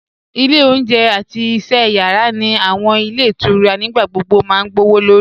Ile ọ̀unjẹ̀ àti iṣẹ̀ yara ni awọn ilẹ̀ itura nígbàgbogbo ma gbọwọ́lọ̀rì